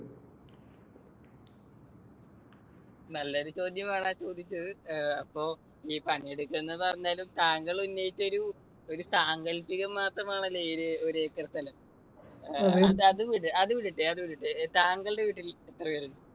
നല്ല ഒരു ചോദ്യമാണ് ആ ചോദിച്ചത്. അപ്പൊ ഈ പണി എടുക്കണത് പറഞ്ഞാലും താങ്കൾ ഉന്നയിച്ച ഒരു സാങ്കൽപ്പികം മാത്രമാണല്ലോ ഈ ഒരു acre സ്ഥലം. അത് വിട് അത് വിടട്ടെ അത് വിടട്ടെ. താങ്കളുടെ വീട്ടിൽ എത്ര പേരുണ്ട്?